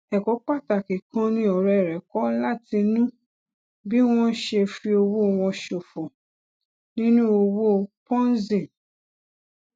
èkó pàtàkì kan ni òré rè kó látinú bí wón ṣe fi owó wọn ṣòfò nínú òwò ponzi